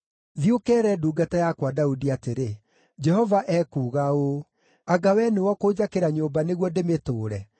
“Thiĩ ũkeere ndungata yakwa Daudi atĩrĩ, ‘Jehova ekuuga ũũ: Anga we nĩwe ũkũnjakĩra nyũmba nĩguo ndĩmĩtũũre?